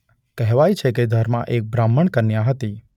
કહેવાય છે કે ધર્મા એક બ્રાહ્મણ કન્યા હતી.